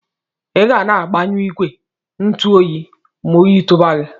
Iga na agbanyu igwe ntu oyi ma oyi tuba gi.